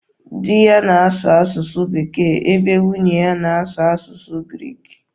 Di ya na-asụ asụsụ Bekee ebe nwunye ya na-asụ asụsụ Greek.